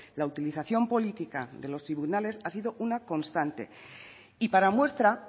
la utilización política de los tribunales ha sido una constante y para muestra